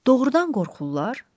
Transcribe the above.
Doğrudan qorxurlar?